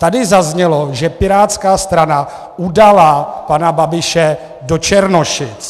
Tady zaznělo, že pirátská strana udala pana Babiše do Černošic.